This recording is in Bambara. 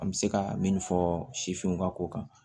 An bɛ se ka min fɔ sifinw ka ko kan